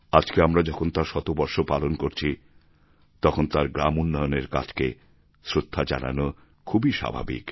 আজকে আমরা যখন তাঁর শতবর্ষ পালন করছি তখন তাঁর গ্রাম উন্নয়নের কাজকে শ্রদ্ধা জানানো খুবই স্বাভাবিক